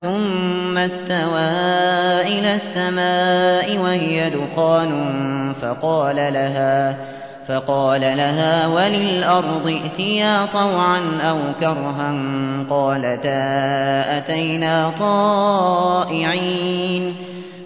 ثُمَّ اسْتَوَىٰ إِلَى السَّمَاءِ وَهِيَ دُخَانٌ فَقَالَ لَهَا وَلِلْأَرْضِ ائْتِيَا طَوْعًا أَوْ كَرْهًا قَالَتَا أَتَيْنَا طَائِعِينَ